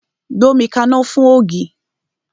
Gbómi kaná fún ògì!